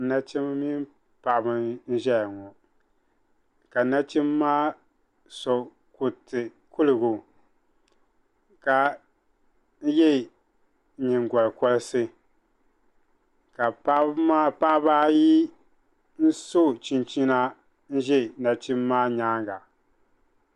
nachimba mini paɣ'ba n ʒɛya ŋɔ ka nachimaa so gbɛ kuruti ka yɛ nyɛ gorisi ka paɣ' ba ayi so chichina n ʒɛ nachim be maa nyaaga